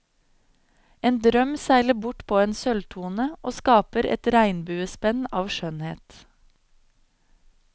En drøm seiler bort på en sølvtone og skaper et regnbuespenn av skjønnhet.